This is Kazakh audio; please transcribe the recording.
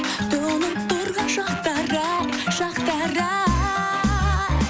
тұнып тұрған шақтар ай шақтар ай